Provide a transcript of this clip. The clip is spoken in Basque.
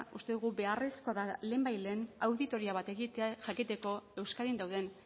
uste dugu beharrezkoa da lehenbailehen auditoria bat egitea jakiteko euskadin dauden